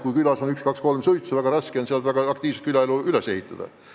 Kui külas on üks-kaks-kolm suitsu, siis on väga raske seal aktiivset külaelu üles ehitada.